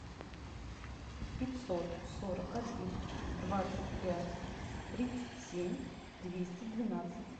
пятьсот сорок один двадцать пять тридцать семь двести двенадцать